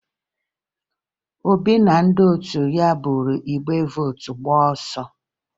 Obi na ndị otu ya buru igbe vootu gbaa ọsọ